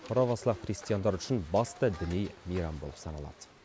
провослав христиандары үшін басты діни мейрам болып саналады